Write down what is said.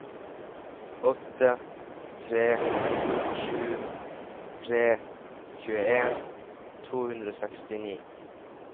åtte tre sju tre tjueen to hundre og sekstini